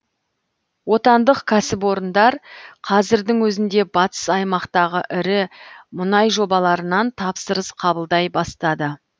отандық кәсіпорындар қазірдің өзінде батыс аймақтағы ірі мұнай жобаларынан тапсырыс қабылдай бастады